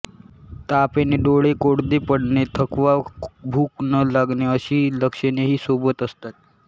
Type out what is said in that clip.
ताप येणे डोळे कोरडे पडणे थकवा भूक न लागणे अशी लक्षणेही सोबत असतात